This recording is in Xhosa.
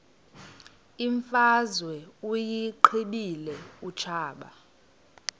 imfazwe uyiqibile utshaba